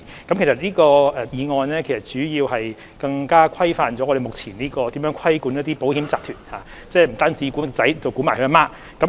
這項議案主要是加強規範我們目前規管保險集團的方式，即不單管其"兒子"，還管其"母親"。